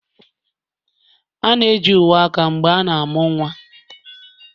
A na-eji uwe aka mgbe a na-amụ nwa